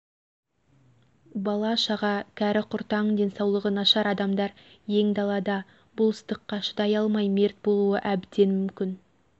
бала-шаға кәрі-құртаң денсаулығы нашар адамдар ең далада бұл ыстыққа шыдай алмай мерт болуы әбден мүмкін